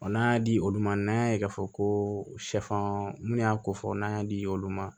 n'an y'a di olu ma n'an y'a ye k'a fɔ ko minnu y'a kofɔ n'an y'a di olu ma